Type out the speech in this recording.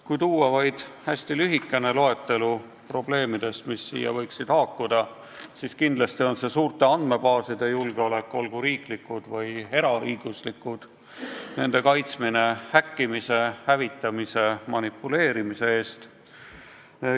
Kui tuua vaid hästi lühikene loetelu probleemidest, mis sellega võiksid haakuda, siis kindlasti on see suurte andmebaaside julgeolek, olgu riiklikud või eraõiguslikud, nende kaitsmine häkkimise, hävitamise, manipuleerimise eest.